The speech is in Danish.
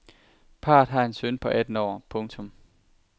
Parret har en søn på atten år. punktum